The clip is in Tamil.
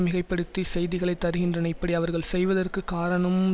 மிகை படுத்தி செய்திகளை தருகின்றன இப்படி அவர்கள் செய்வதற்கு காரணம்